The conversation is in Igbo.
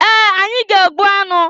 Ee! Anyị ga-egbu anụ.